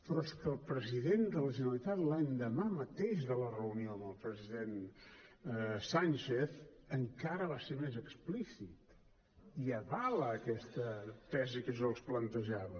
però és que el president de la generalitat l’endemà mateix de la reunió amb el president sánchez encara va ser més explícit i avala aquesta tesi que jo els plantejava